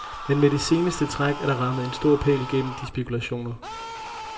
Men med det seneste træk, er der rammet en stor pæl gennem de spekulationer.